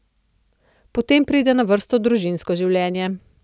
Potem pride na vrsto družinsko življenje.